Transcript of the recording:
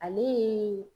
Ale